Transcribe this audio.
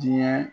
Diɲɛ